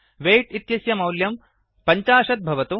weight इत्यस्य मौल्यं पञ्चाशत् भवतु